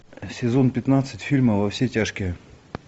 сезон пятнадцать фильма во все тяжкие